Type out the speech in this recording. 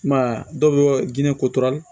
I m'a ye a dɔw bɛ kotora